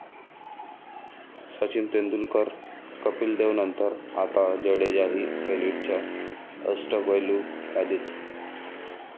सचिन तेंडुलकर, कपिल देवनंतर आता जडेजाही एलिटच्या अष्टपैलू यादीत!